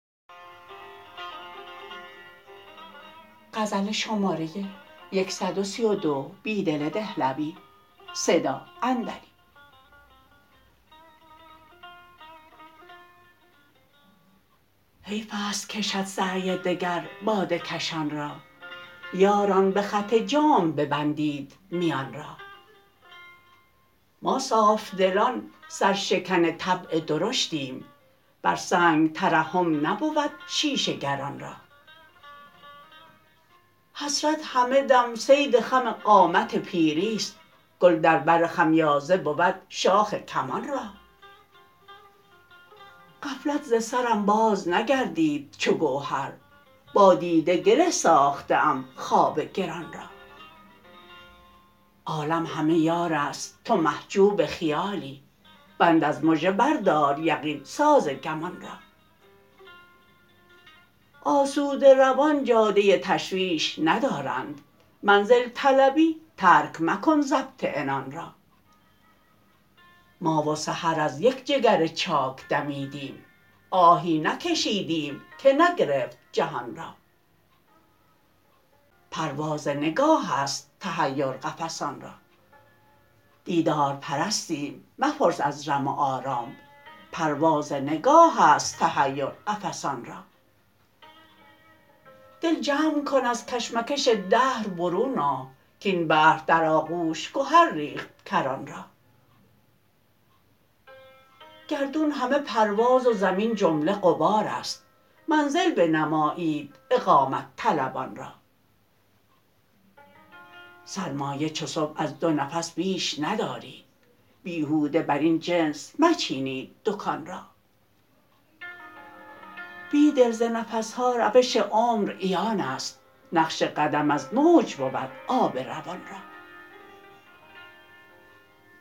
حیف است کشد سعی دگر باده کشان را یاران به خط جام ببندید میان را ما صافدلان سرشکن طبع درشتیم بر سنگ ترحم نبود شیشه گران را حسرت همه دم صید خم قامت پیری ست گل در بر خمیازه بود شاخ کمان را غفلت ز سرم باز نگردید چوگوهر با دیده گره ساخته ام خواب گران را عالم همه یار است تو محجوب خیالی بند از مژه بردار یقین سازگمان را آسوده روان جاده تشویش ندارند منزل طلبی ترک مکن ضبط عنان را ما و سحر از یک جگر چاک دمیدیم آهی نکشیدیم که نگرفت جهان را دیدار پرستیم مپرس از رم و آرام پرواز نگاه است تحیر قفسان را دل جمع کن ازکشمکش دهر برون آ کاین بحر در آغوش گهر ریخت کران را گردون همه پرواز و زمین جمله غبار است منزل بنمایید اقامت طلبان را سرمایه چو صبح از دو نفس بیش ندارید بیهوده براین جنس مچینید دکان را بیدل ز نفسها روش عمر عیان است نقش قدم از موج بود آب روان را